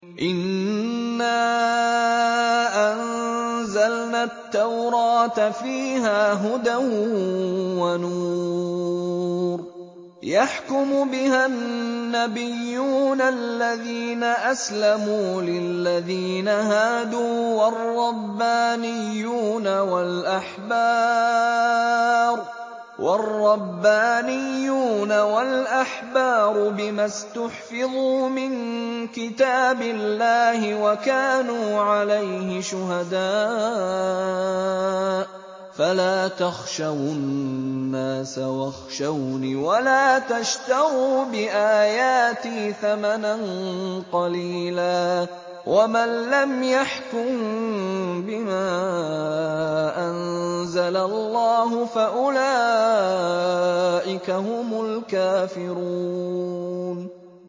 إِنَّا أَنزَلْنَا التَّوْرَاةَ فِيهَا هُدًى وَنُورٌ ۚ يَحْكُمُ بِهَا النَّبِيُّونَ الَّذِينَ أَسْلَمُوا لِلَّذِينَ هَادُوا وَالرَّبَّانِيُّونَ وَالْأَحْبَارُ بِمَا اسْتُحْفِظُوا مِن كِتَابِ اللَّهِ وَكَانُوا عَلَيْهِ شُهَدَاءَ ۚ فَلَا تَخْشَوُا النَّاسَ وَاخْشَوْنِ وَلَا تَشْتَرُوا بِآيَاتِي ثَمَنًا قَلِيلًا ۚ وَمَن لَّمْ يَحْكُم بِمَا أَنزَلَ اللَّهُ فَأُولَٰئِكَ هُمُ الْكَافِرُونَ